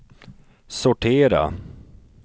sortera